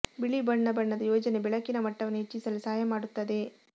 ಬಿಳಿ ಬಣ್ಣ ಬಣ್ಣದ ಯೋಜನೆ ಬೆಳಕಿನ ಮಟ್ಟವನ್ನು ಹೆಚ್ಚಿಸಲು ಸಹಾಯ ಮಾಡುತ್ತದೆ